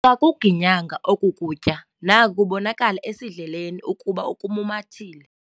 Akakuginyanga oku kutya naku kubonakala esidleleni ukuba ukumumathile.